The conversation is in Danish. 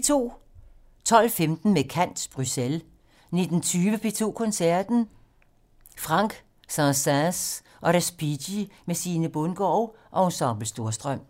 12:15: Med kant - Bruxelles 19:20: P2 Koncerten - Franck, Saint-Säens og Respighi med Sine Bundgaard og Ensemble Storstrøm